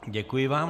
Děkuji vám.